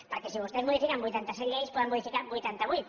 perquè si vostès modifiquen vuitanta set lleis en poden modificar vuitanta vuit